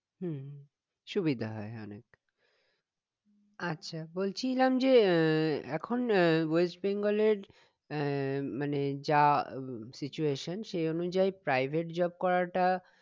হম সুবিধা হয় অনেক আচ্ছা বলছিলাম যে আহ এখন আহ ওয়েস্ট বেঙ্গলের আহ মানে যা situation সে অনুযায়ী private job করা টা